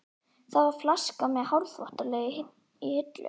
Það var flaska með hárþvottalegi í hillu.